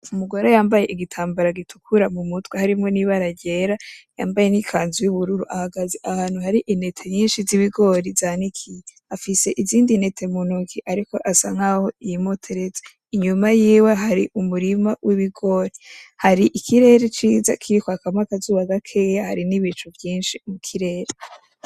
Umugore yambaye igitambara gitukura mu mutwe harimwo nibara ryera yambaye nikanzu y'ubururu ahagaze ahantu hari intete nyinshi z'ibigori zanikiye, afise izindi ntete mu ntoke ariko asa nkaho yimotereza, inyuma yiwe hari umurima w'Ibigori. Hari ikirere ciza Kiri kwakamwo akazuba gakeya hari nibicu vyinshi mu kirere.